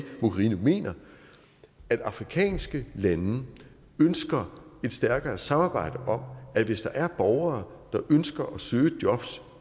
mogherini mener at afrikanske lande ønsker et stærkere samarbejde om at hvis der er borgere der ønsker at søge jobs